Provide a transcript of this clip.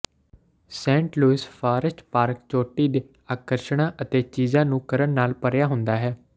Saint Louis Forest Park ਚੋਟੀ ਦੇ ਆਕਰਸ਼ਣਾਂ ਅਤੇ ਚੀਜ਼ਾਂ ਨੂੰ ਕਰਨ ਨਾਲ ਭਰਿਆ ਹੁੰਦਾ ਹੈ